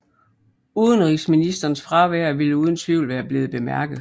Udenrigsministerens fravær ville uden tvivl være blevet bemærket